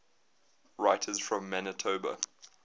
writers from manitoba